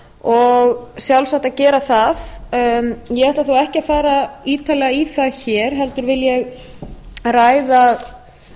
og sjálfsagt að gera það ég ætla þó ekki að fara ítarlega í það hér heldur